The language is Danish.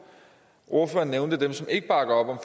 ordføreren nævnte dem som ikke bakker